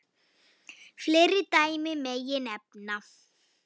Fleiri dæmi megi nefna.